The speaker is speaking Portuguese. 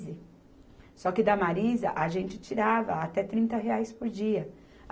Só que da Marisa a gente tirava até trinta reais por dia.